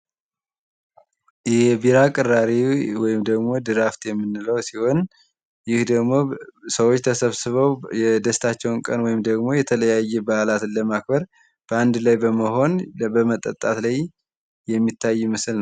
የቢራ ቅራሬ ወይም ድራፍት የምንለው ሲሆን ይህ ደግሞ ሰዎች ሰብስበው የደስታቸውን ቀን ወይም ደግሞ የተለያየ ባህላትን ለማክበር በአንድ ላይ በመሆን በመጠጣት ላይ የሚታይ ምስል ነው ።